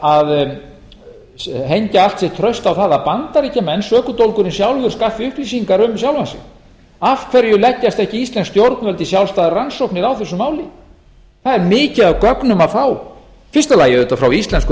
að hengja allt sitt traust á það að bandaríkjamenn sökudólgurinn sjálfur skaffi upplýsingar um sjálfan sig af hverju leggjast ekki íslensk stjórnvöld í sjálfstæða rannsókn á þessu máli það er mikið af gögnum að fá í fyrsta lagi auðvitað frá íslenskum